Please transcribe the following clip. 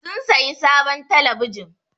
Sun sayi sabon telebijin.